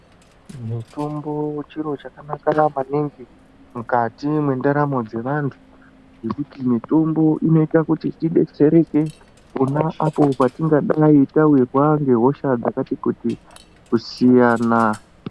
Mutombo chiro chakanaka maningi mukati mendaramo dzevantu kuti mitombo inoita kuti reshe kuti pona apapo tawirwa nehosha dzakati kuti kusiyana.